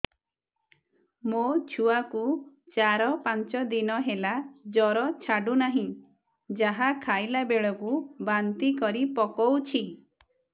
ମୋ ଛୁଆ କୁ ଚାର ପାଞ୍ଚ ଦିନ ହେଲା ଜର ଛାଡୁ ନାହିଁ ଯାହା ଖାଇଲା ବେଳକୁ ବାନ୍ତି କରି ପକଉଛି